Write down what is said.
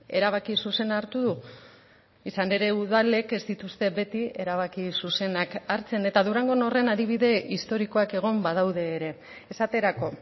erabaki zuzena hartu du izan ere udalek ez dituzte beti erabaki zuzenak hartzen eta durangon horren adibide historikoak egon badaude ere esaterako